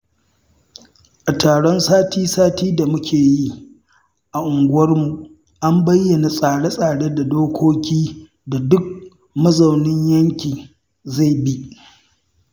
A taron sati-sati da muke yi a unguwarmu an bayyana tsare-tsare da dokokin da duk mazaunin yankin zai bi.